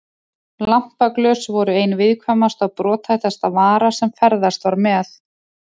Lampaglös voru ein viðkvæmasta og brothættasta vara sem ferðast var með.